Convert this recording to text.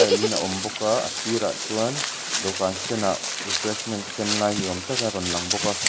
in a awm bawk a a sir ah chuan dawhkan senah refreshment sem lai ni awm tak a rawn lang bawk a.